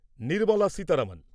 Nirmala Sitharaman